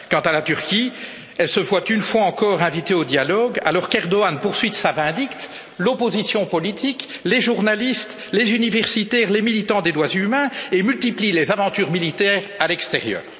Quant à la Turquie, elle est encore une fois invitée au dialogue alors qu'Erdoğan poursuit de sa vindicte, l'opposition politique, les journalistes, les universitaires, les militants des droits de l'homme et multiplie les aventures militaires à l'extérieur.